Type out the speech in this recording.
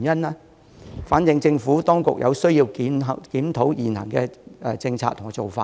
這情況反映出政府當局有需要檢討現行的政策和做法。